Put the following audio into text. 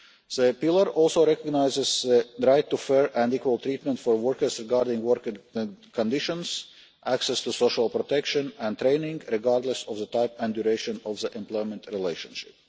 The Pillar also recognises the right to fair and equal treatment for workers regarding working conditions and access to social protection and training, regardless of the type and duration of the employment relationship.